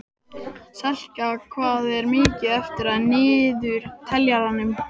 Selka, hvað er mikið eftir af niðurteljaranum?